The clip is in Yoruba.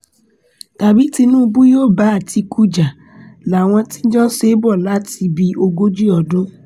tàbí tinúbù ni yóò bá àtìkù jà láwọn tí wọ́n ti jọ ń ṣe bọ̀ láti bíi ogójì ọdún